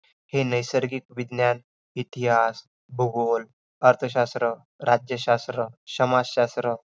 आयुर्वेद हा शब्द आयु अधीक वेध या दोन शब्दांचा समास आहे . आयुर्वेद बरोबर आयु आधिक वेध